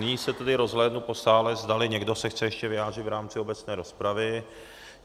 Nyní se tedy rozhlédnu po sále, zdali někdo se chce ještě vyjádřit v rámci obecné rozpravy.